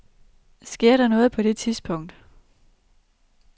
Sker der noget på det tidspunkt.